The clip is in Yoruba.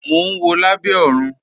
Mò n wọ̀ Lábẹ̀ Òrun.